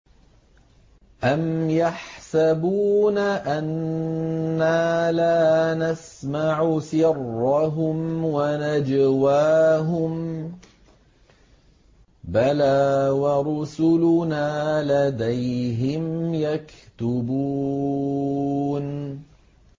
أَمْ يَحْسَبُونَ أَنَّا لَا نَسْمَعُ سِرَّهُمْ وَنَجْوَاهُم ۚ بَلَىٰ وَرُسُلُنَا لَدَيْهِمْ يَكْتُبُونَ